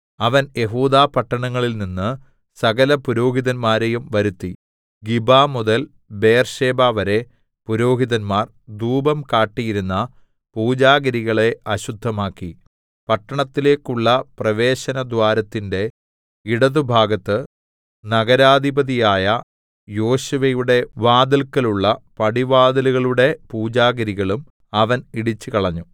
അവൻ യെഹൂദാപട്ടണങ്ങളിൽനിന്ന് സകലപുരോഹിതന്മാരെയും വരുത്തി ഗിബമുതൽ ബേർശേബവരെ പുരോഹിതന്മാർ ധൂപം കാട്ടിയിരുന്ന പൂജാഗിരികളെ അശുദ്ധമാക്കി പട്ടണത്തിലേക്കുള്ള പ്രവേശനദ്വാരത്തിന്റെ ഇടത്തുഭാഗത്ത് നഗരാധിപതിയായ യോശുവയുടെ വാതില്‍ക്കലുള്ള പടിവാതിലുകളുടെ പൂജാഗിരികളും അവൻ ഇടിച്ചുകളഞ്ഞു